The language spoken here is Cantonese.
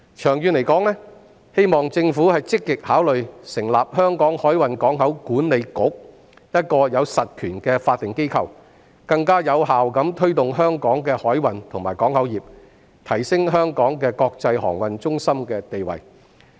長遠而言，希望政府積極考慮成立香港海運港口管理局，一個有實權的法定機構，更有效推動香港的海運和港口業，提升香港的國際航運中心地位。